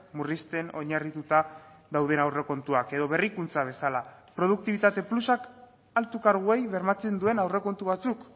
murrizten oinarrituta dauden aurrekontuak edo berrikuntza bezala produktibitate plusak altu karguei bermatzen duen aurrekontu batzuk